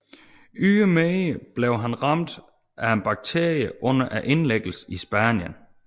Ydermere blev han ramt af en bakterie under indlæggelsen i Spanien